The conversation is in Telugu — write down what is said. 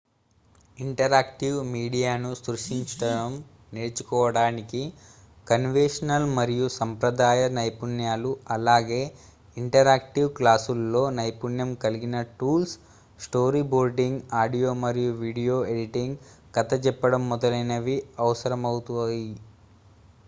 ఇంటరాక్టివ్ మీడియాను సృష్టించడం నేర్చుకోవటానికి కన్వెన్షనల్ మరియు సాంప్రదాయ నైపుణ్యాలు అలాగే ఇంటరాక్టివ్ క్లాసుల్లో నైపుణ్యం కలిగిన టూల్స్ స్టోరీబోర్డింగ్ ఆడియో మరియు వీడియో ఎడిటింగ్ కథ చెప్పడం మొదలైనవి అవసరమవుతాయి